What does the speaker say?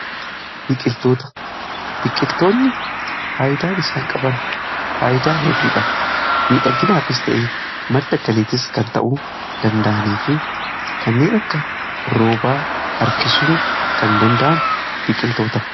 Biqiltoota, biqiltoonni faayidaan isaan qaban faayidaa hedduudha. Miidhagginaafis ta'e madda galiitis kan ta'uu danda'anii fi kanneen akka roobaa harkisuu kan danda'an biqiltoota.